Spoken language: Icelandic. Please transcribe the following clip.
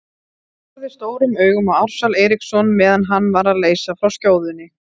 Hann horfði stórum augum á Ársæl Eiríksson meðan hann var að leysa frá skjóðunni.